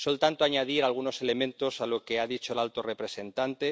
Solo, por tanto, añadir algunos elementos a lo que ha dicho el alto representante.